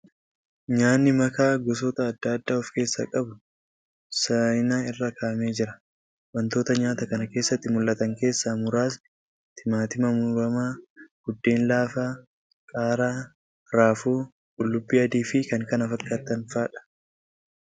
Nyaanni makaa gosoota adda addaa of keessaa qabu saayina irra kaa'amee jira. Wantoota nyaata kana keessatti mul'atan keessaa muraasni timaatima muramaa, buddeen laafaa, qaaraa, raafuu , qullubbii adii fi kan kana fakkaatan fa'adha.